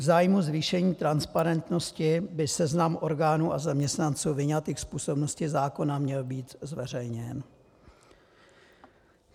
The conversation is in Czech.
V zájmu zvýšení transparentnosti by seznam orgánů a zaměstnanců vyňatých z působnosti zákona měl být zveřejněn.